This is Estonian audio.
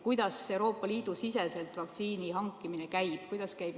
Kuidas Euroopa Liidu siseselt vaktsiini hankimine käib?